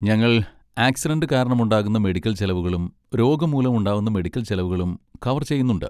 ഞങ്ങൾ ആക്സിഡന്റ് കാരണമുണ്ടാകുന്ന മെഡിക്കൽ ചെലവുകളും രോഗം മൂലം ഉണ്ടാകുന്ന മെഡിക്കൽ ചെലവുകളും കവർ ചെയ്യുന്നുണ്ട്.